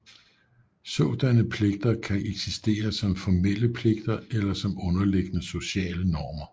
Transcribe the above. Sådanne pligter kan eksistere som formelle pligter eller som underliggende sociale normer